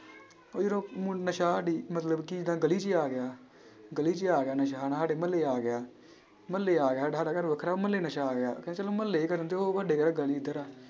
ਉਹ ਜਦੋਂ ਮ~ ਨਸ਼ਾ ਸਾਡੀ ਮਤਲਬ ਕਿ ਏਦਾਂ ਗਲੀ 'ਚ ਆ ਗਿਆ ਗਲੀ 'ਚ ਆ ਗਿਆ ਨਸ਼ਾ ਹਨਾ ਸਾਡੇ ਮੁਹੱਲੇ ਆ ਗਿਆ, ਮੁਹੱਲੇ ਆ ਗਿਆ ਘਰ ਵੱਖਰਾ ਮੁਹੱਲਾ ਨਸ਼ਾ ਆ ਗਿਆ ਕਹਿੰਦੇ ਚਲੋ ਮੁਹੱਲੇ ਕਰਨ ਤੇ ਉਹ ਸਾਡੇ